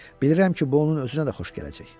Bilirəm ki, bu onun özünə də xoş gələcək.